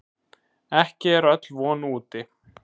En ekki er öll von úti.